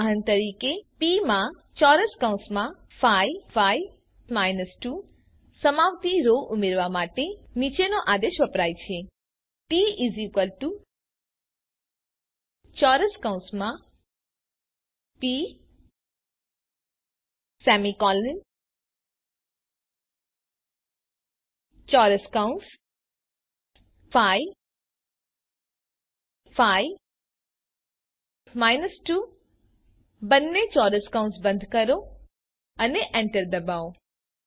ઉદાહરણ તરીકે પ માં 5 5 2 સમાવતી રો ઉમેરવા માટે નીચેનો આદેશ વપરાય છે ટી P 5 5 2 બંને ચોરસ કૌસ બંધ કરો અને એન્ટર ડબાઓ